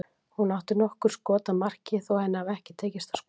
Hún átti nokkur skot að marki þó henni hafi ekki tekist að skora.